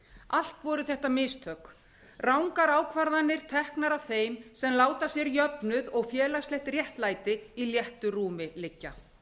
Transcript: allt voru þetta mistök rangar ákvarðanir teknar af þeim sem láta sér jöfnuð og félagslegt réttlæti í léttu rúmi liggja